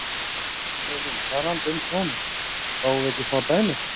Elín: Talandi um tóninn, fáum við ekki smá dæmi?